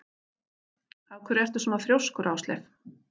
Af hverju ertu svona þrjóskur, Ásleif?